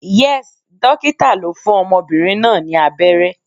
Yes, Dókítà lo fún ọmọbìnrin náà ni abẹ́rẹ́